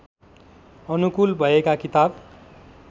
अनुकूल भएका किताब